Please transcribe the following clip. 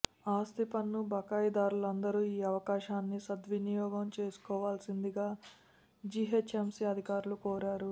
ఆస్తిపన్ను బకాయిదారులందరూ ఈ అవకాశాన్ని సద్వినియోగం చేసుకోవాల్సిందిగా జిహెచ్ఎంసి అధికారులు కోరారు